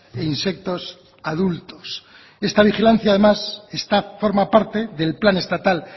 e insectos adultos esta vigilancia además forma parte del plan estatal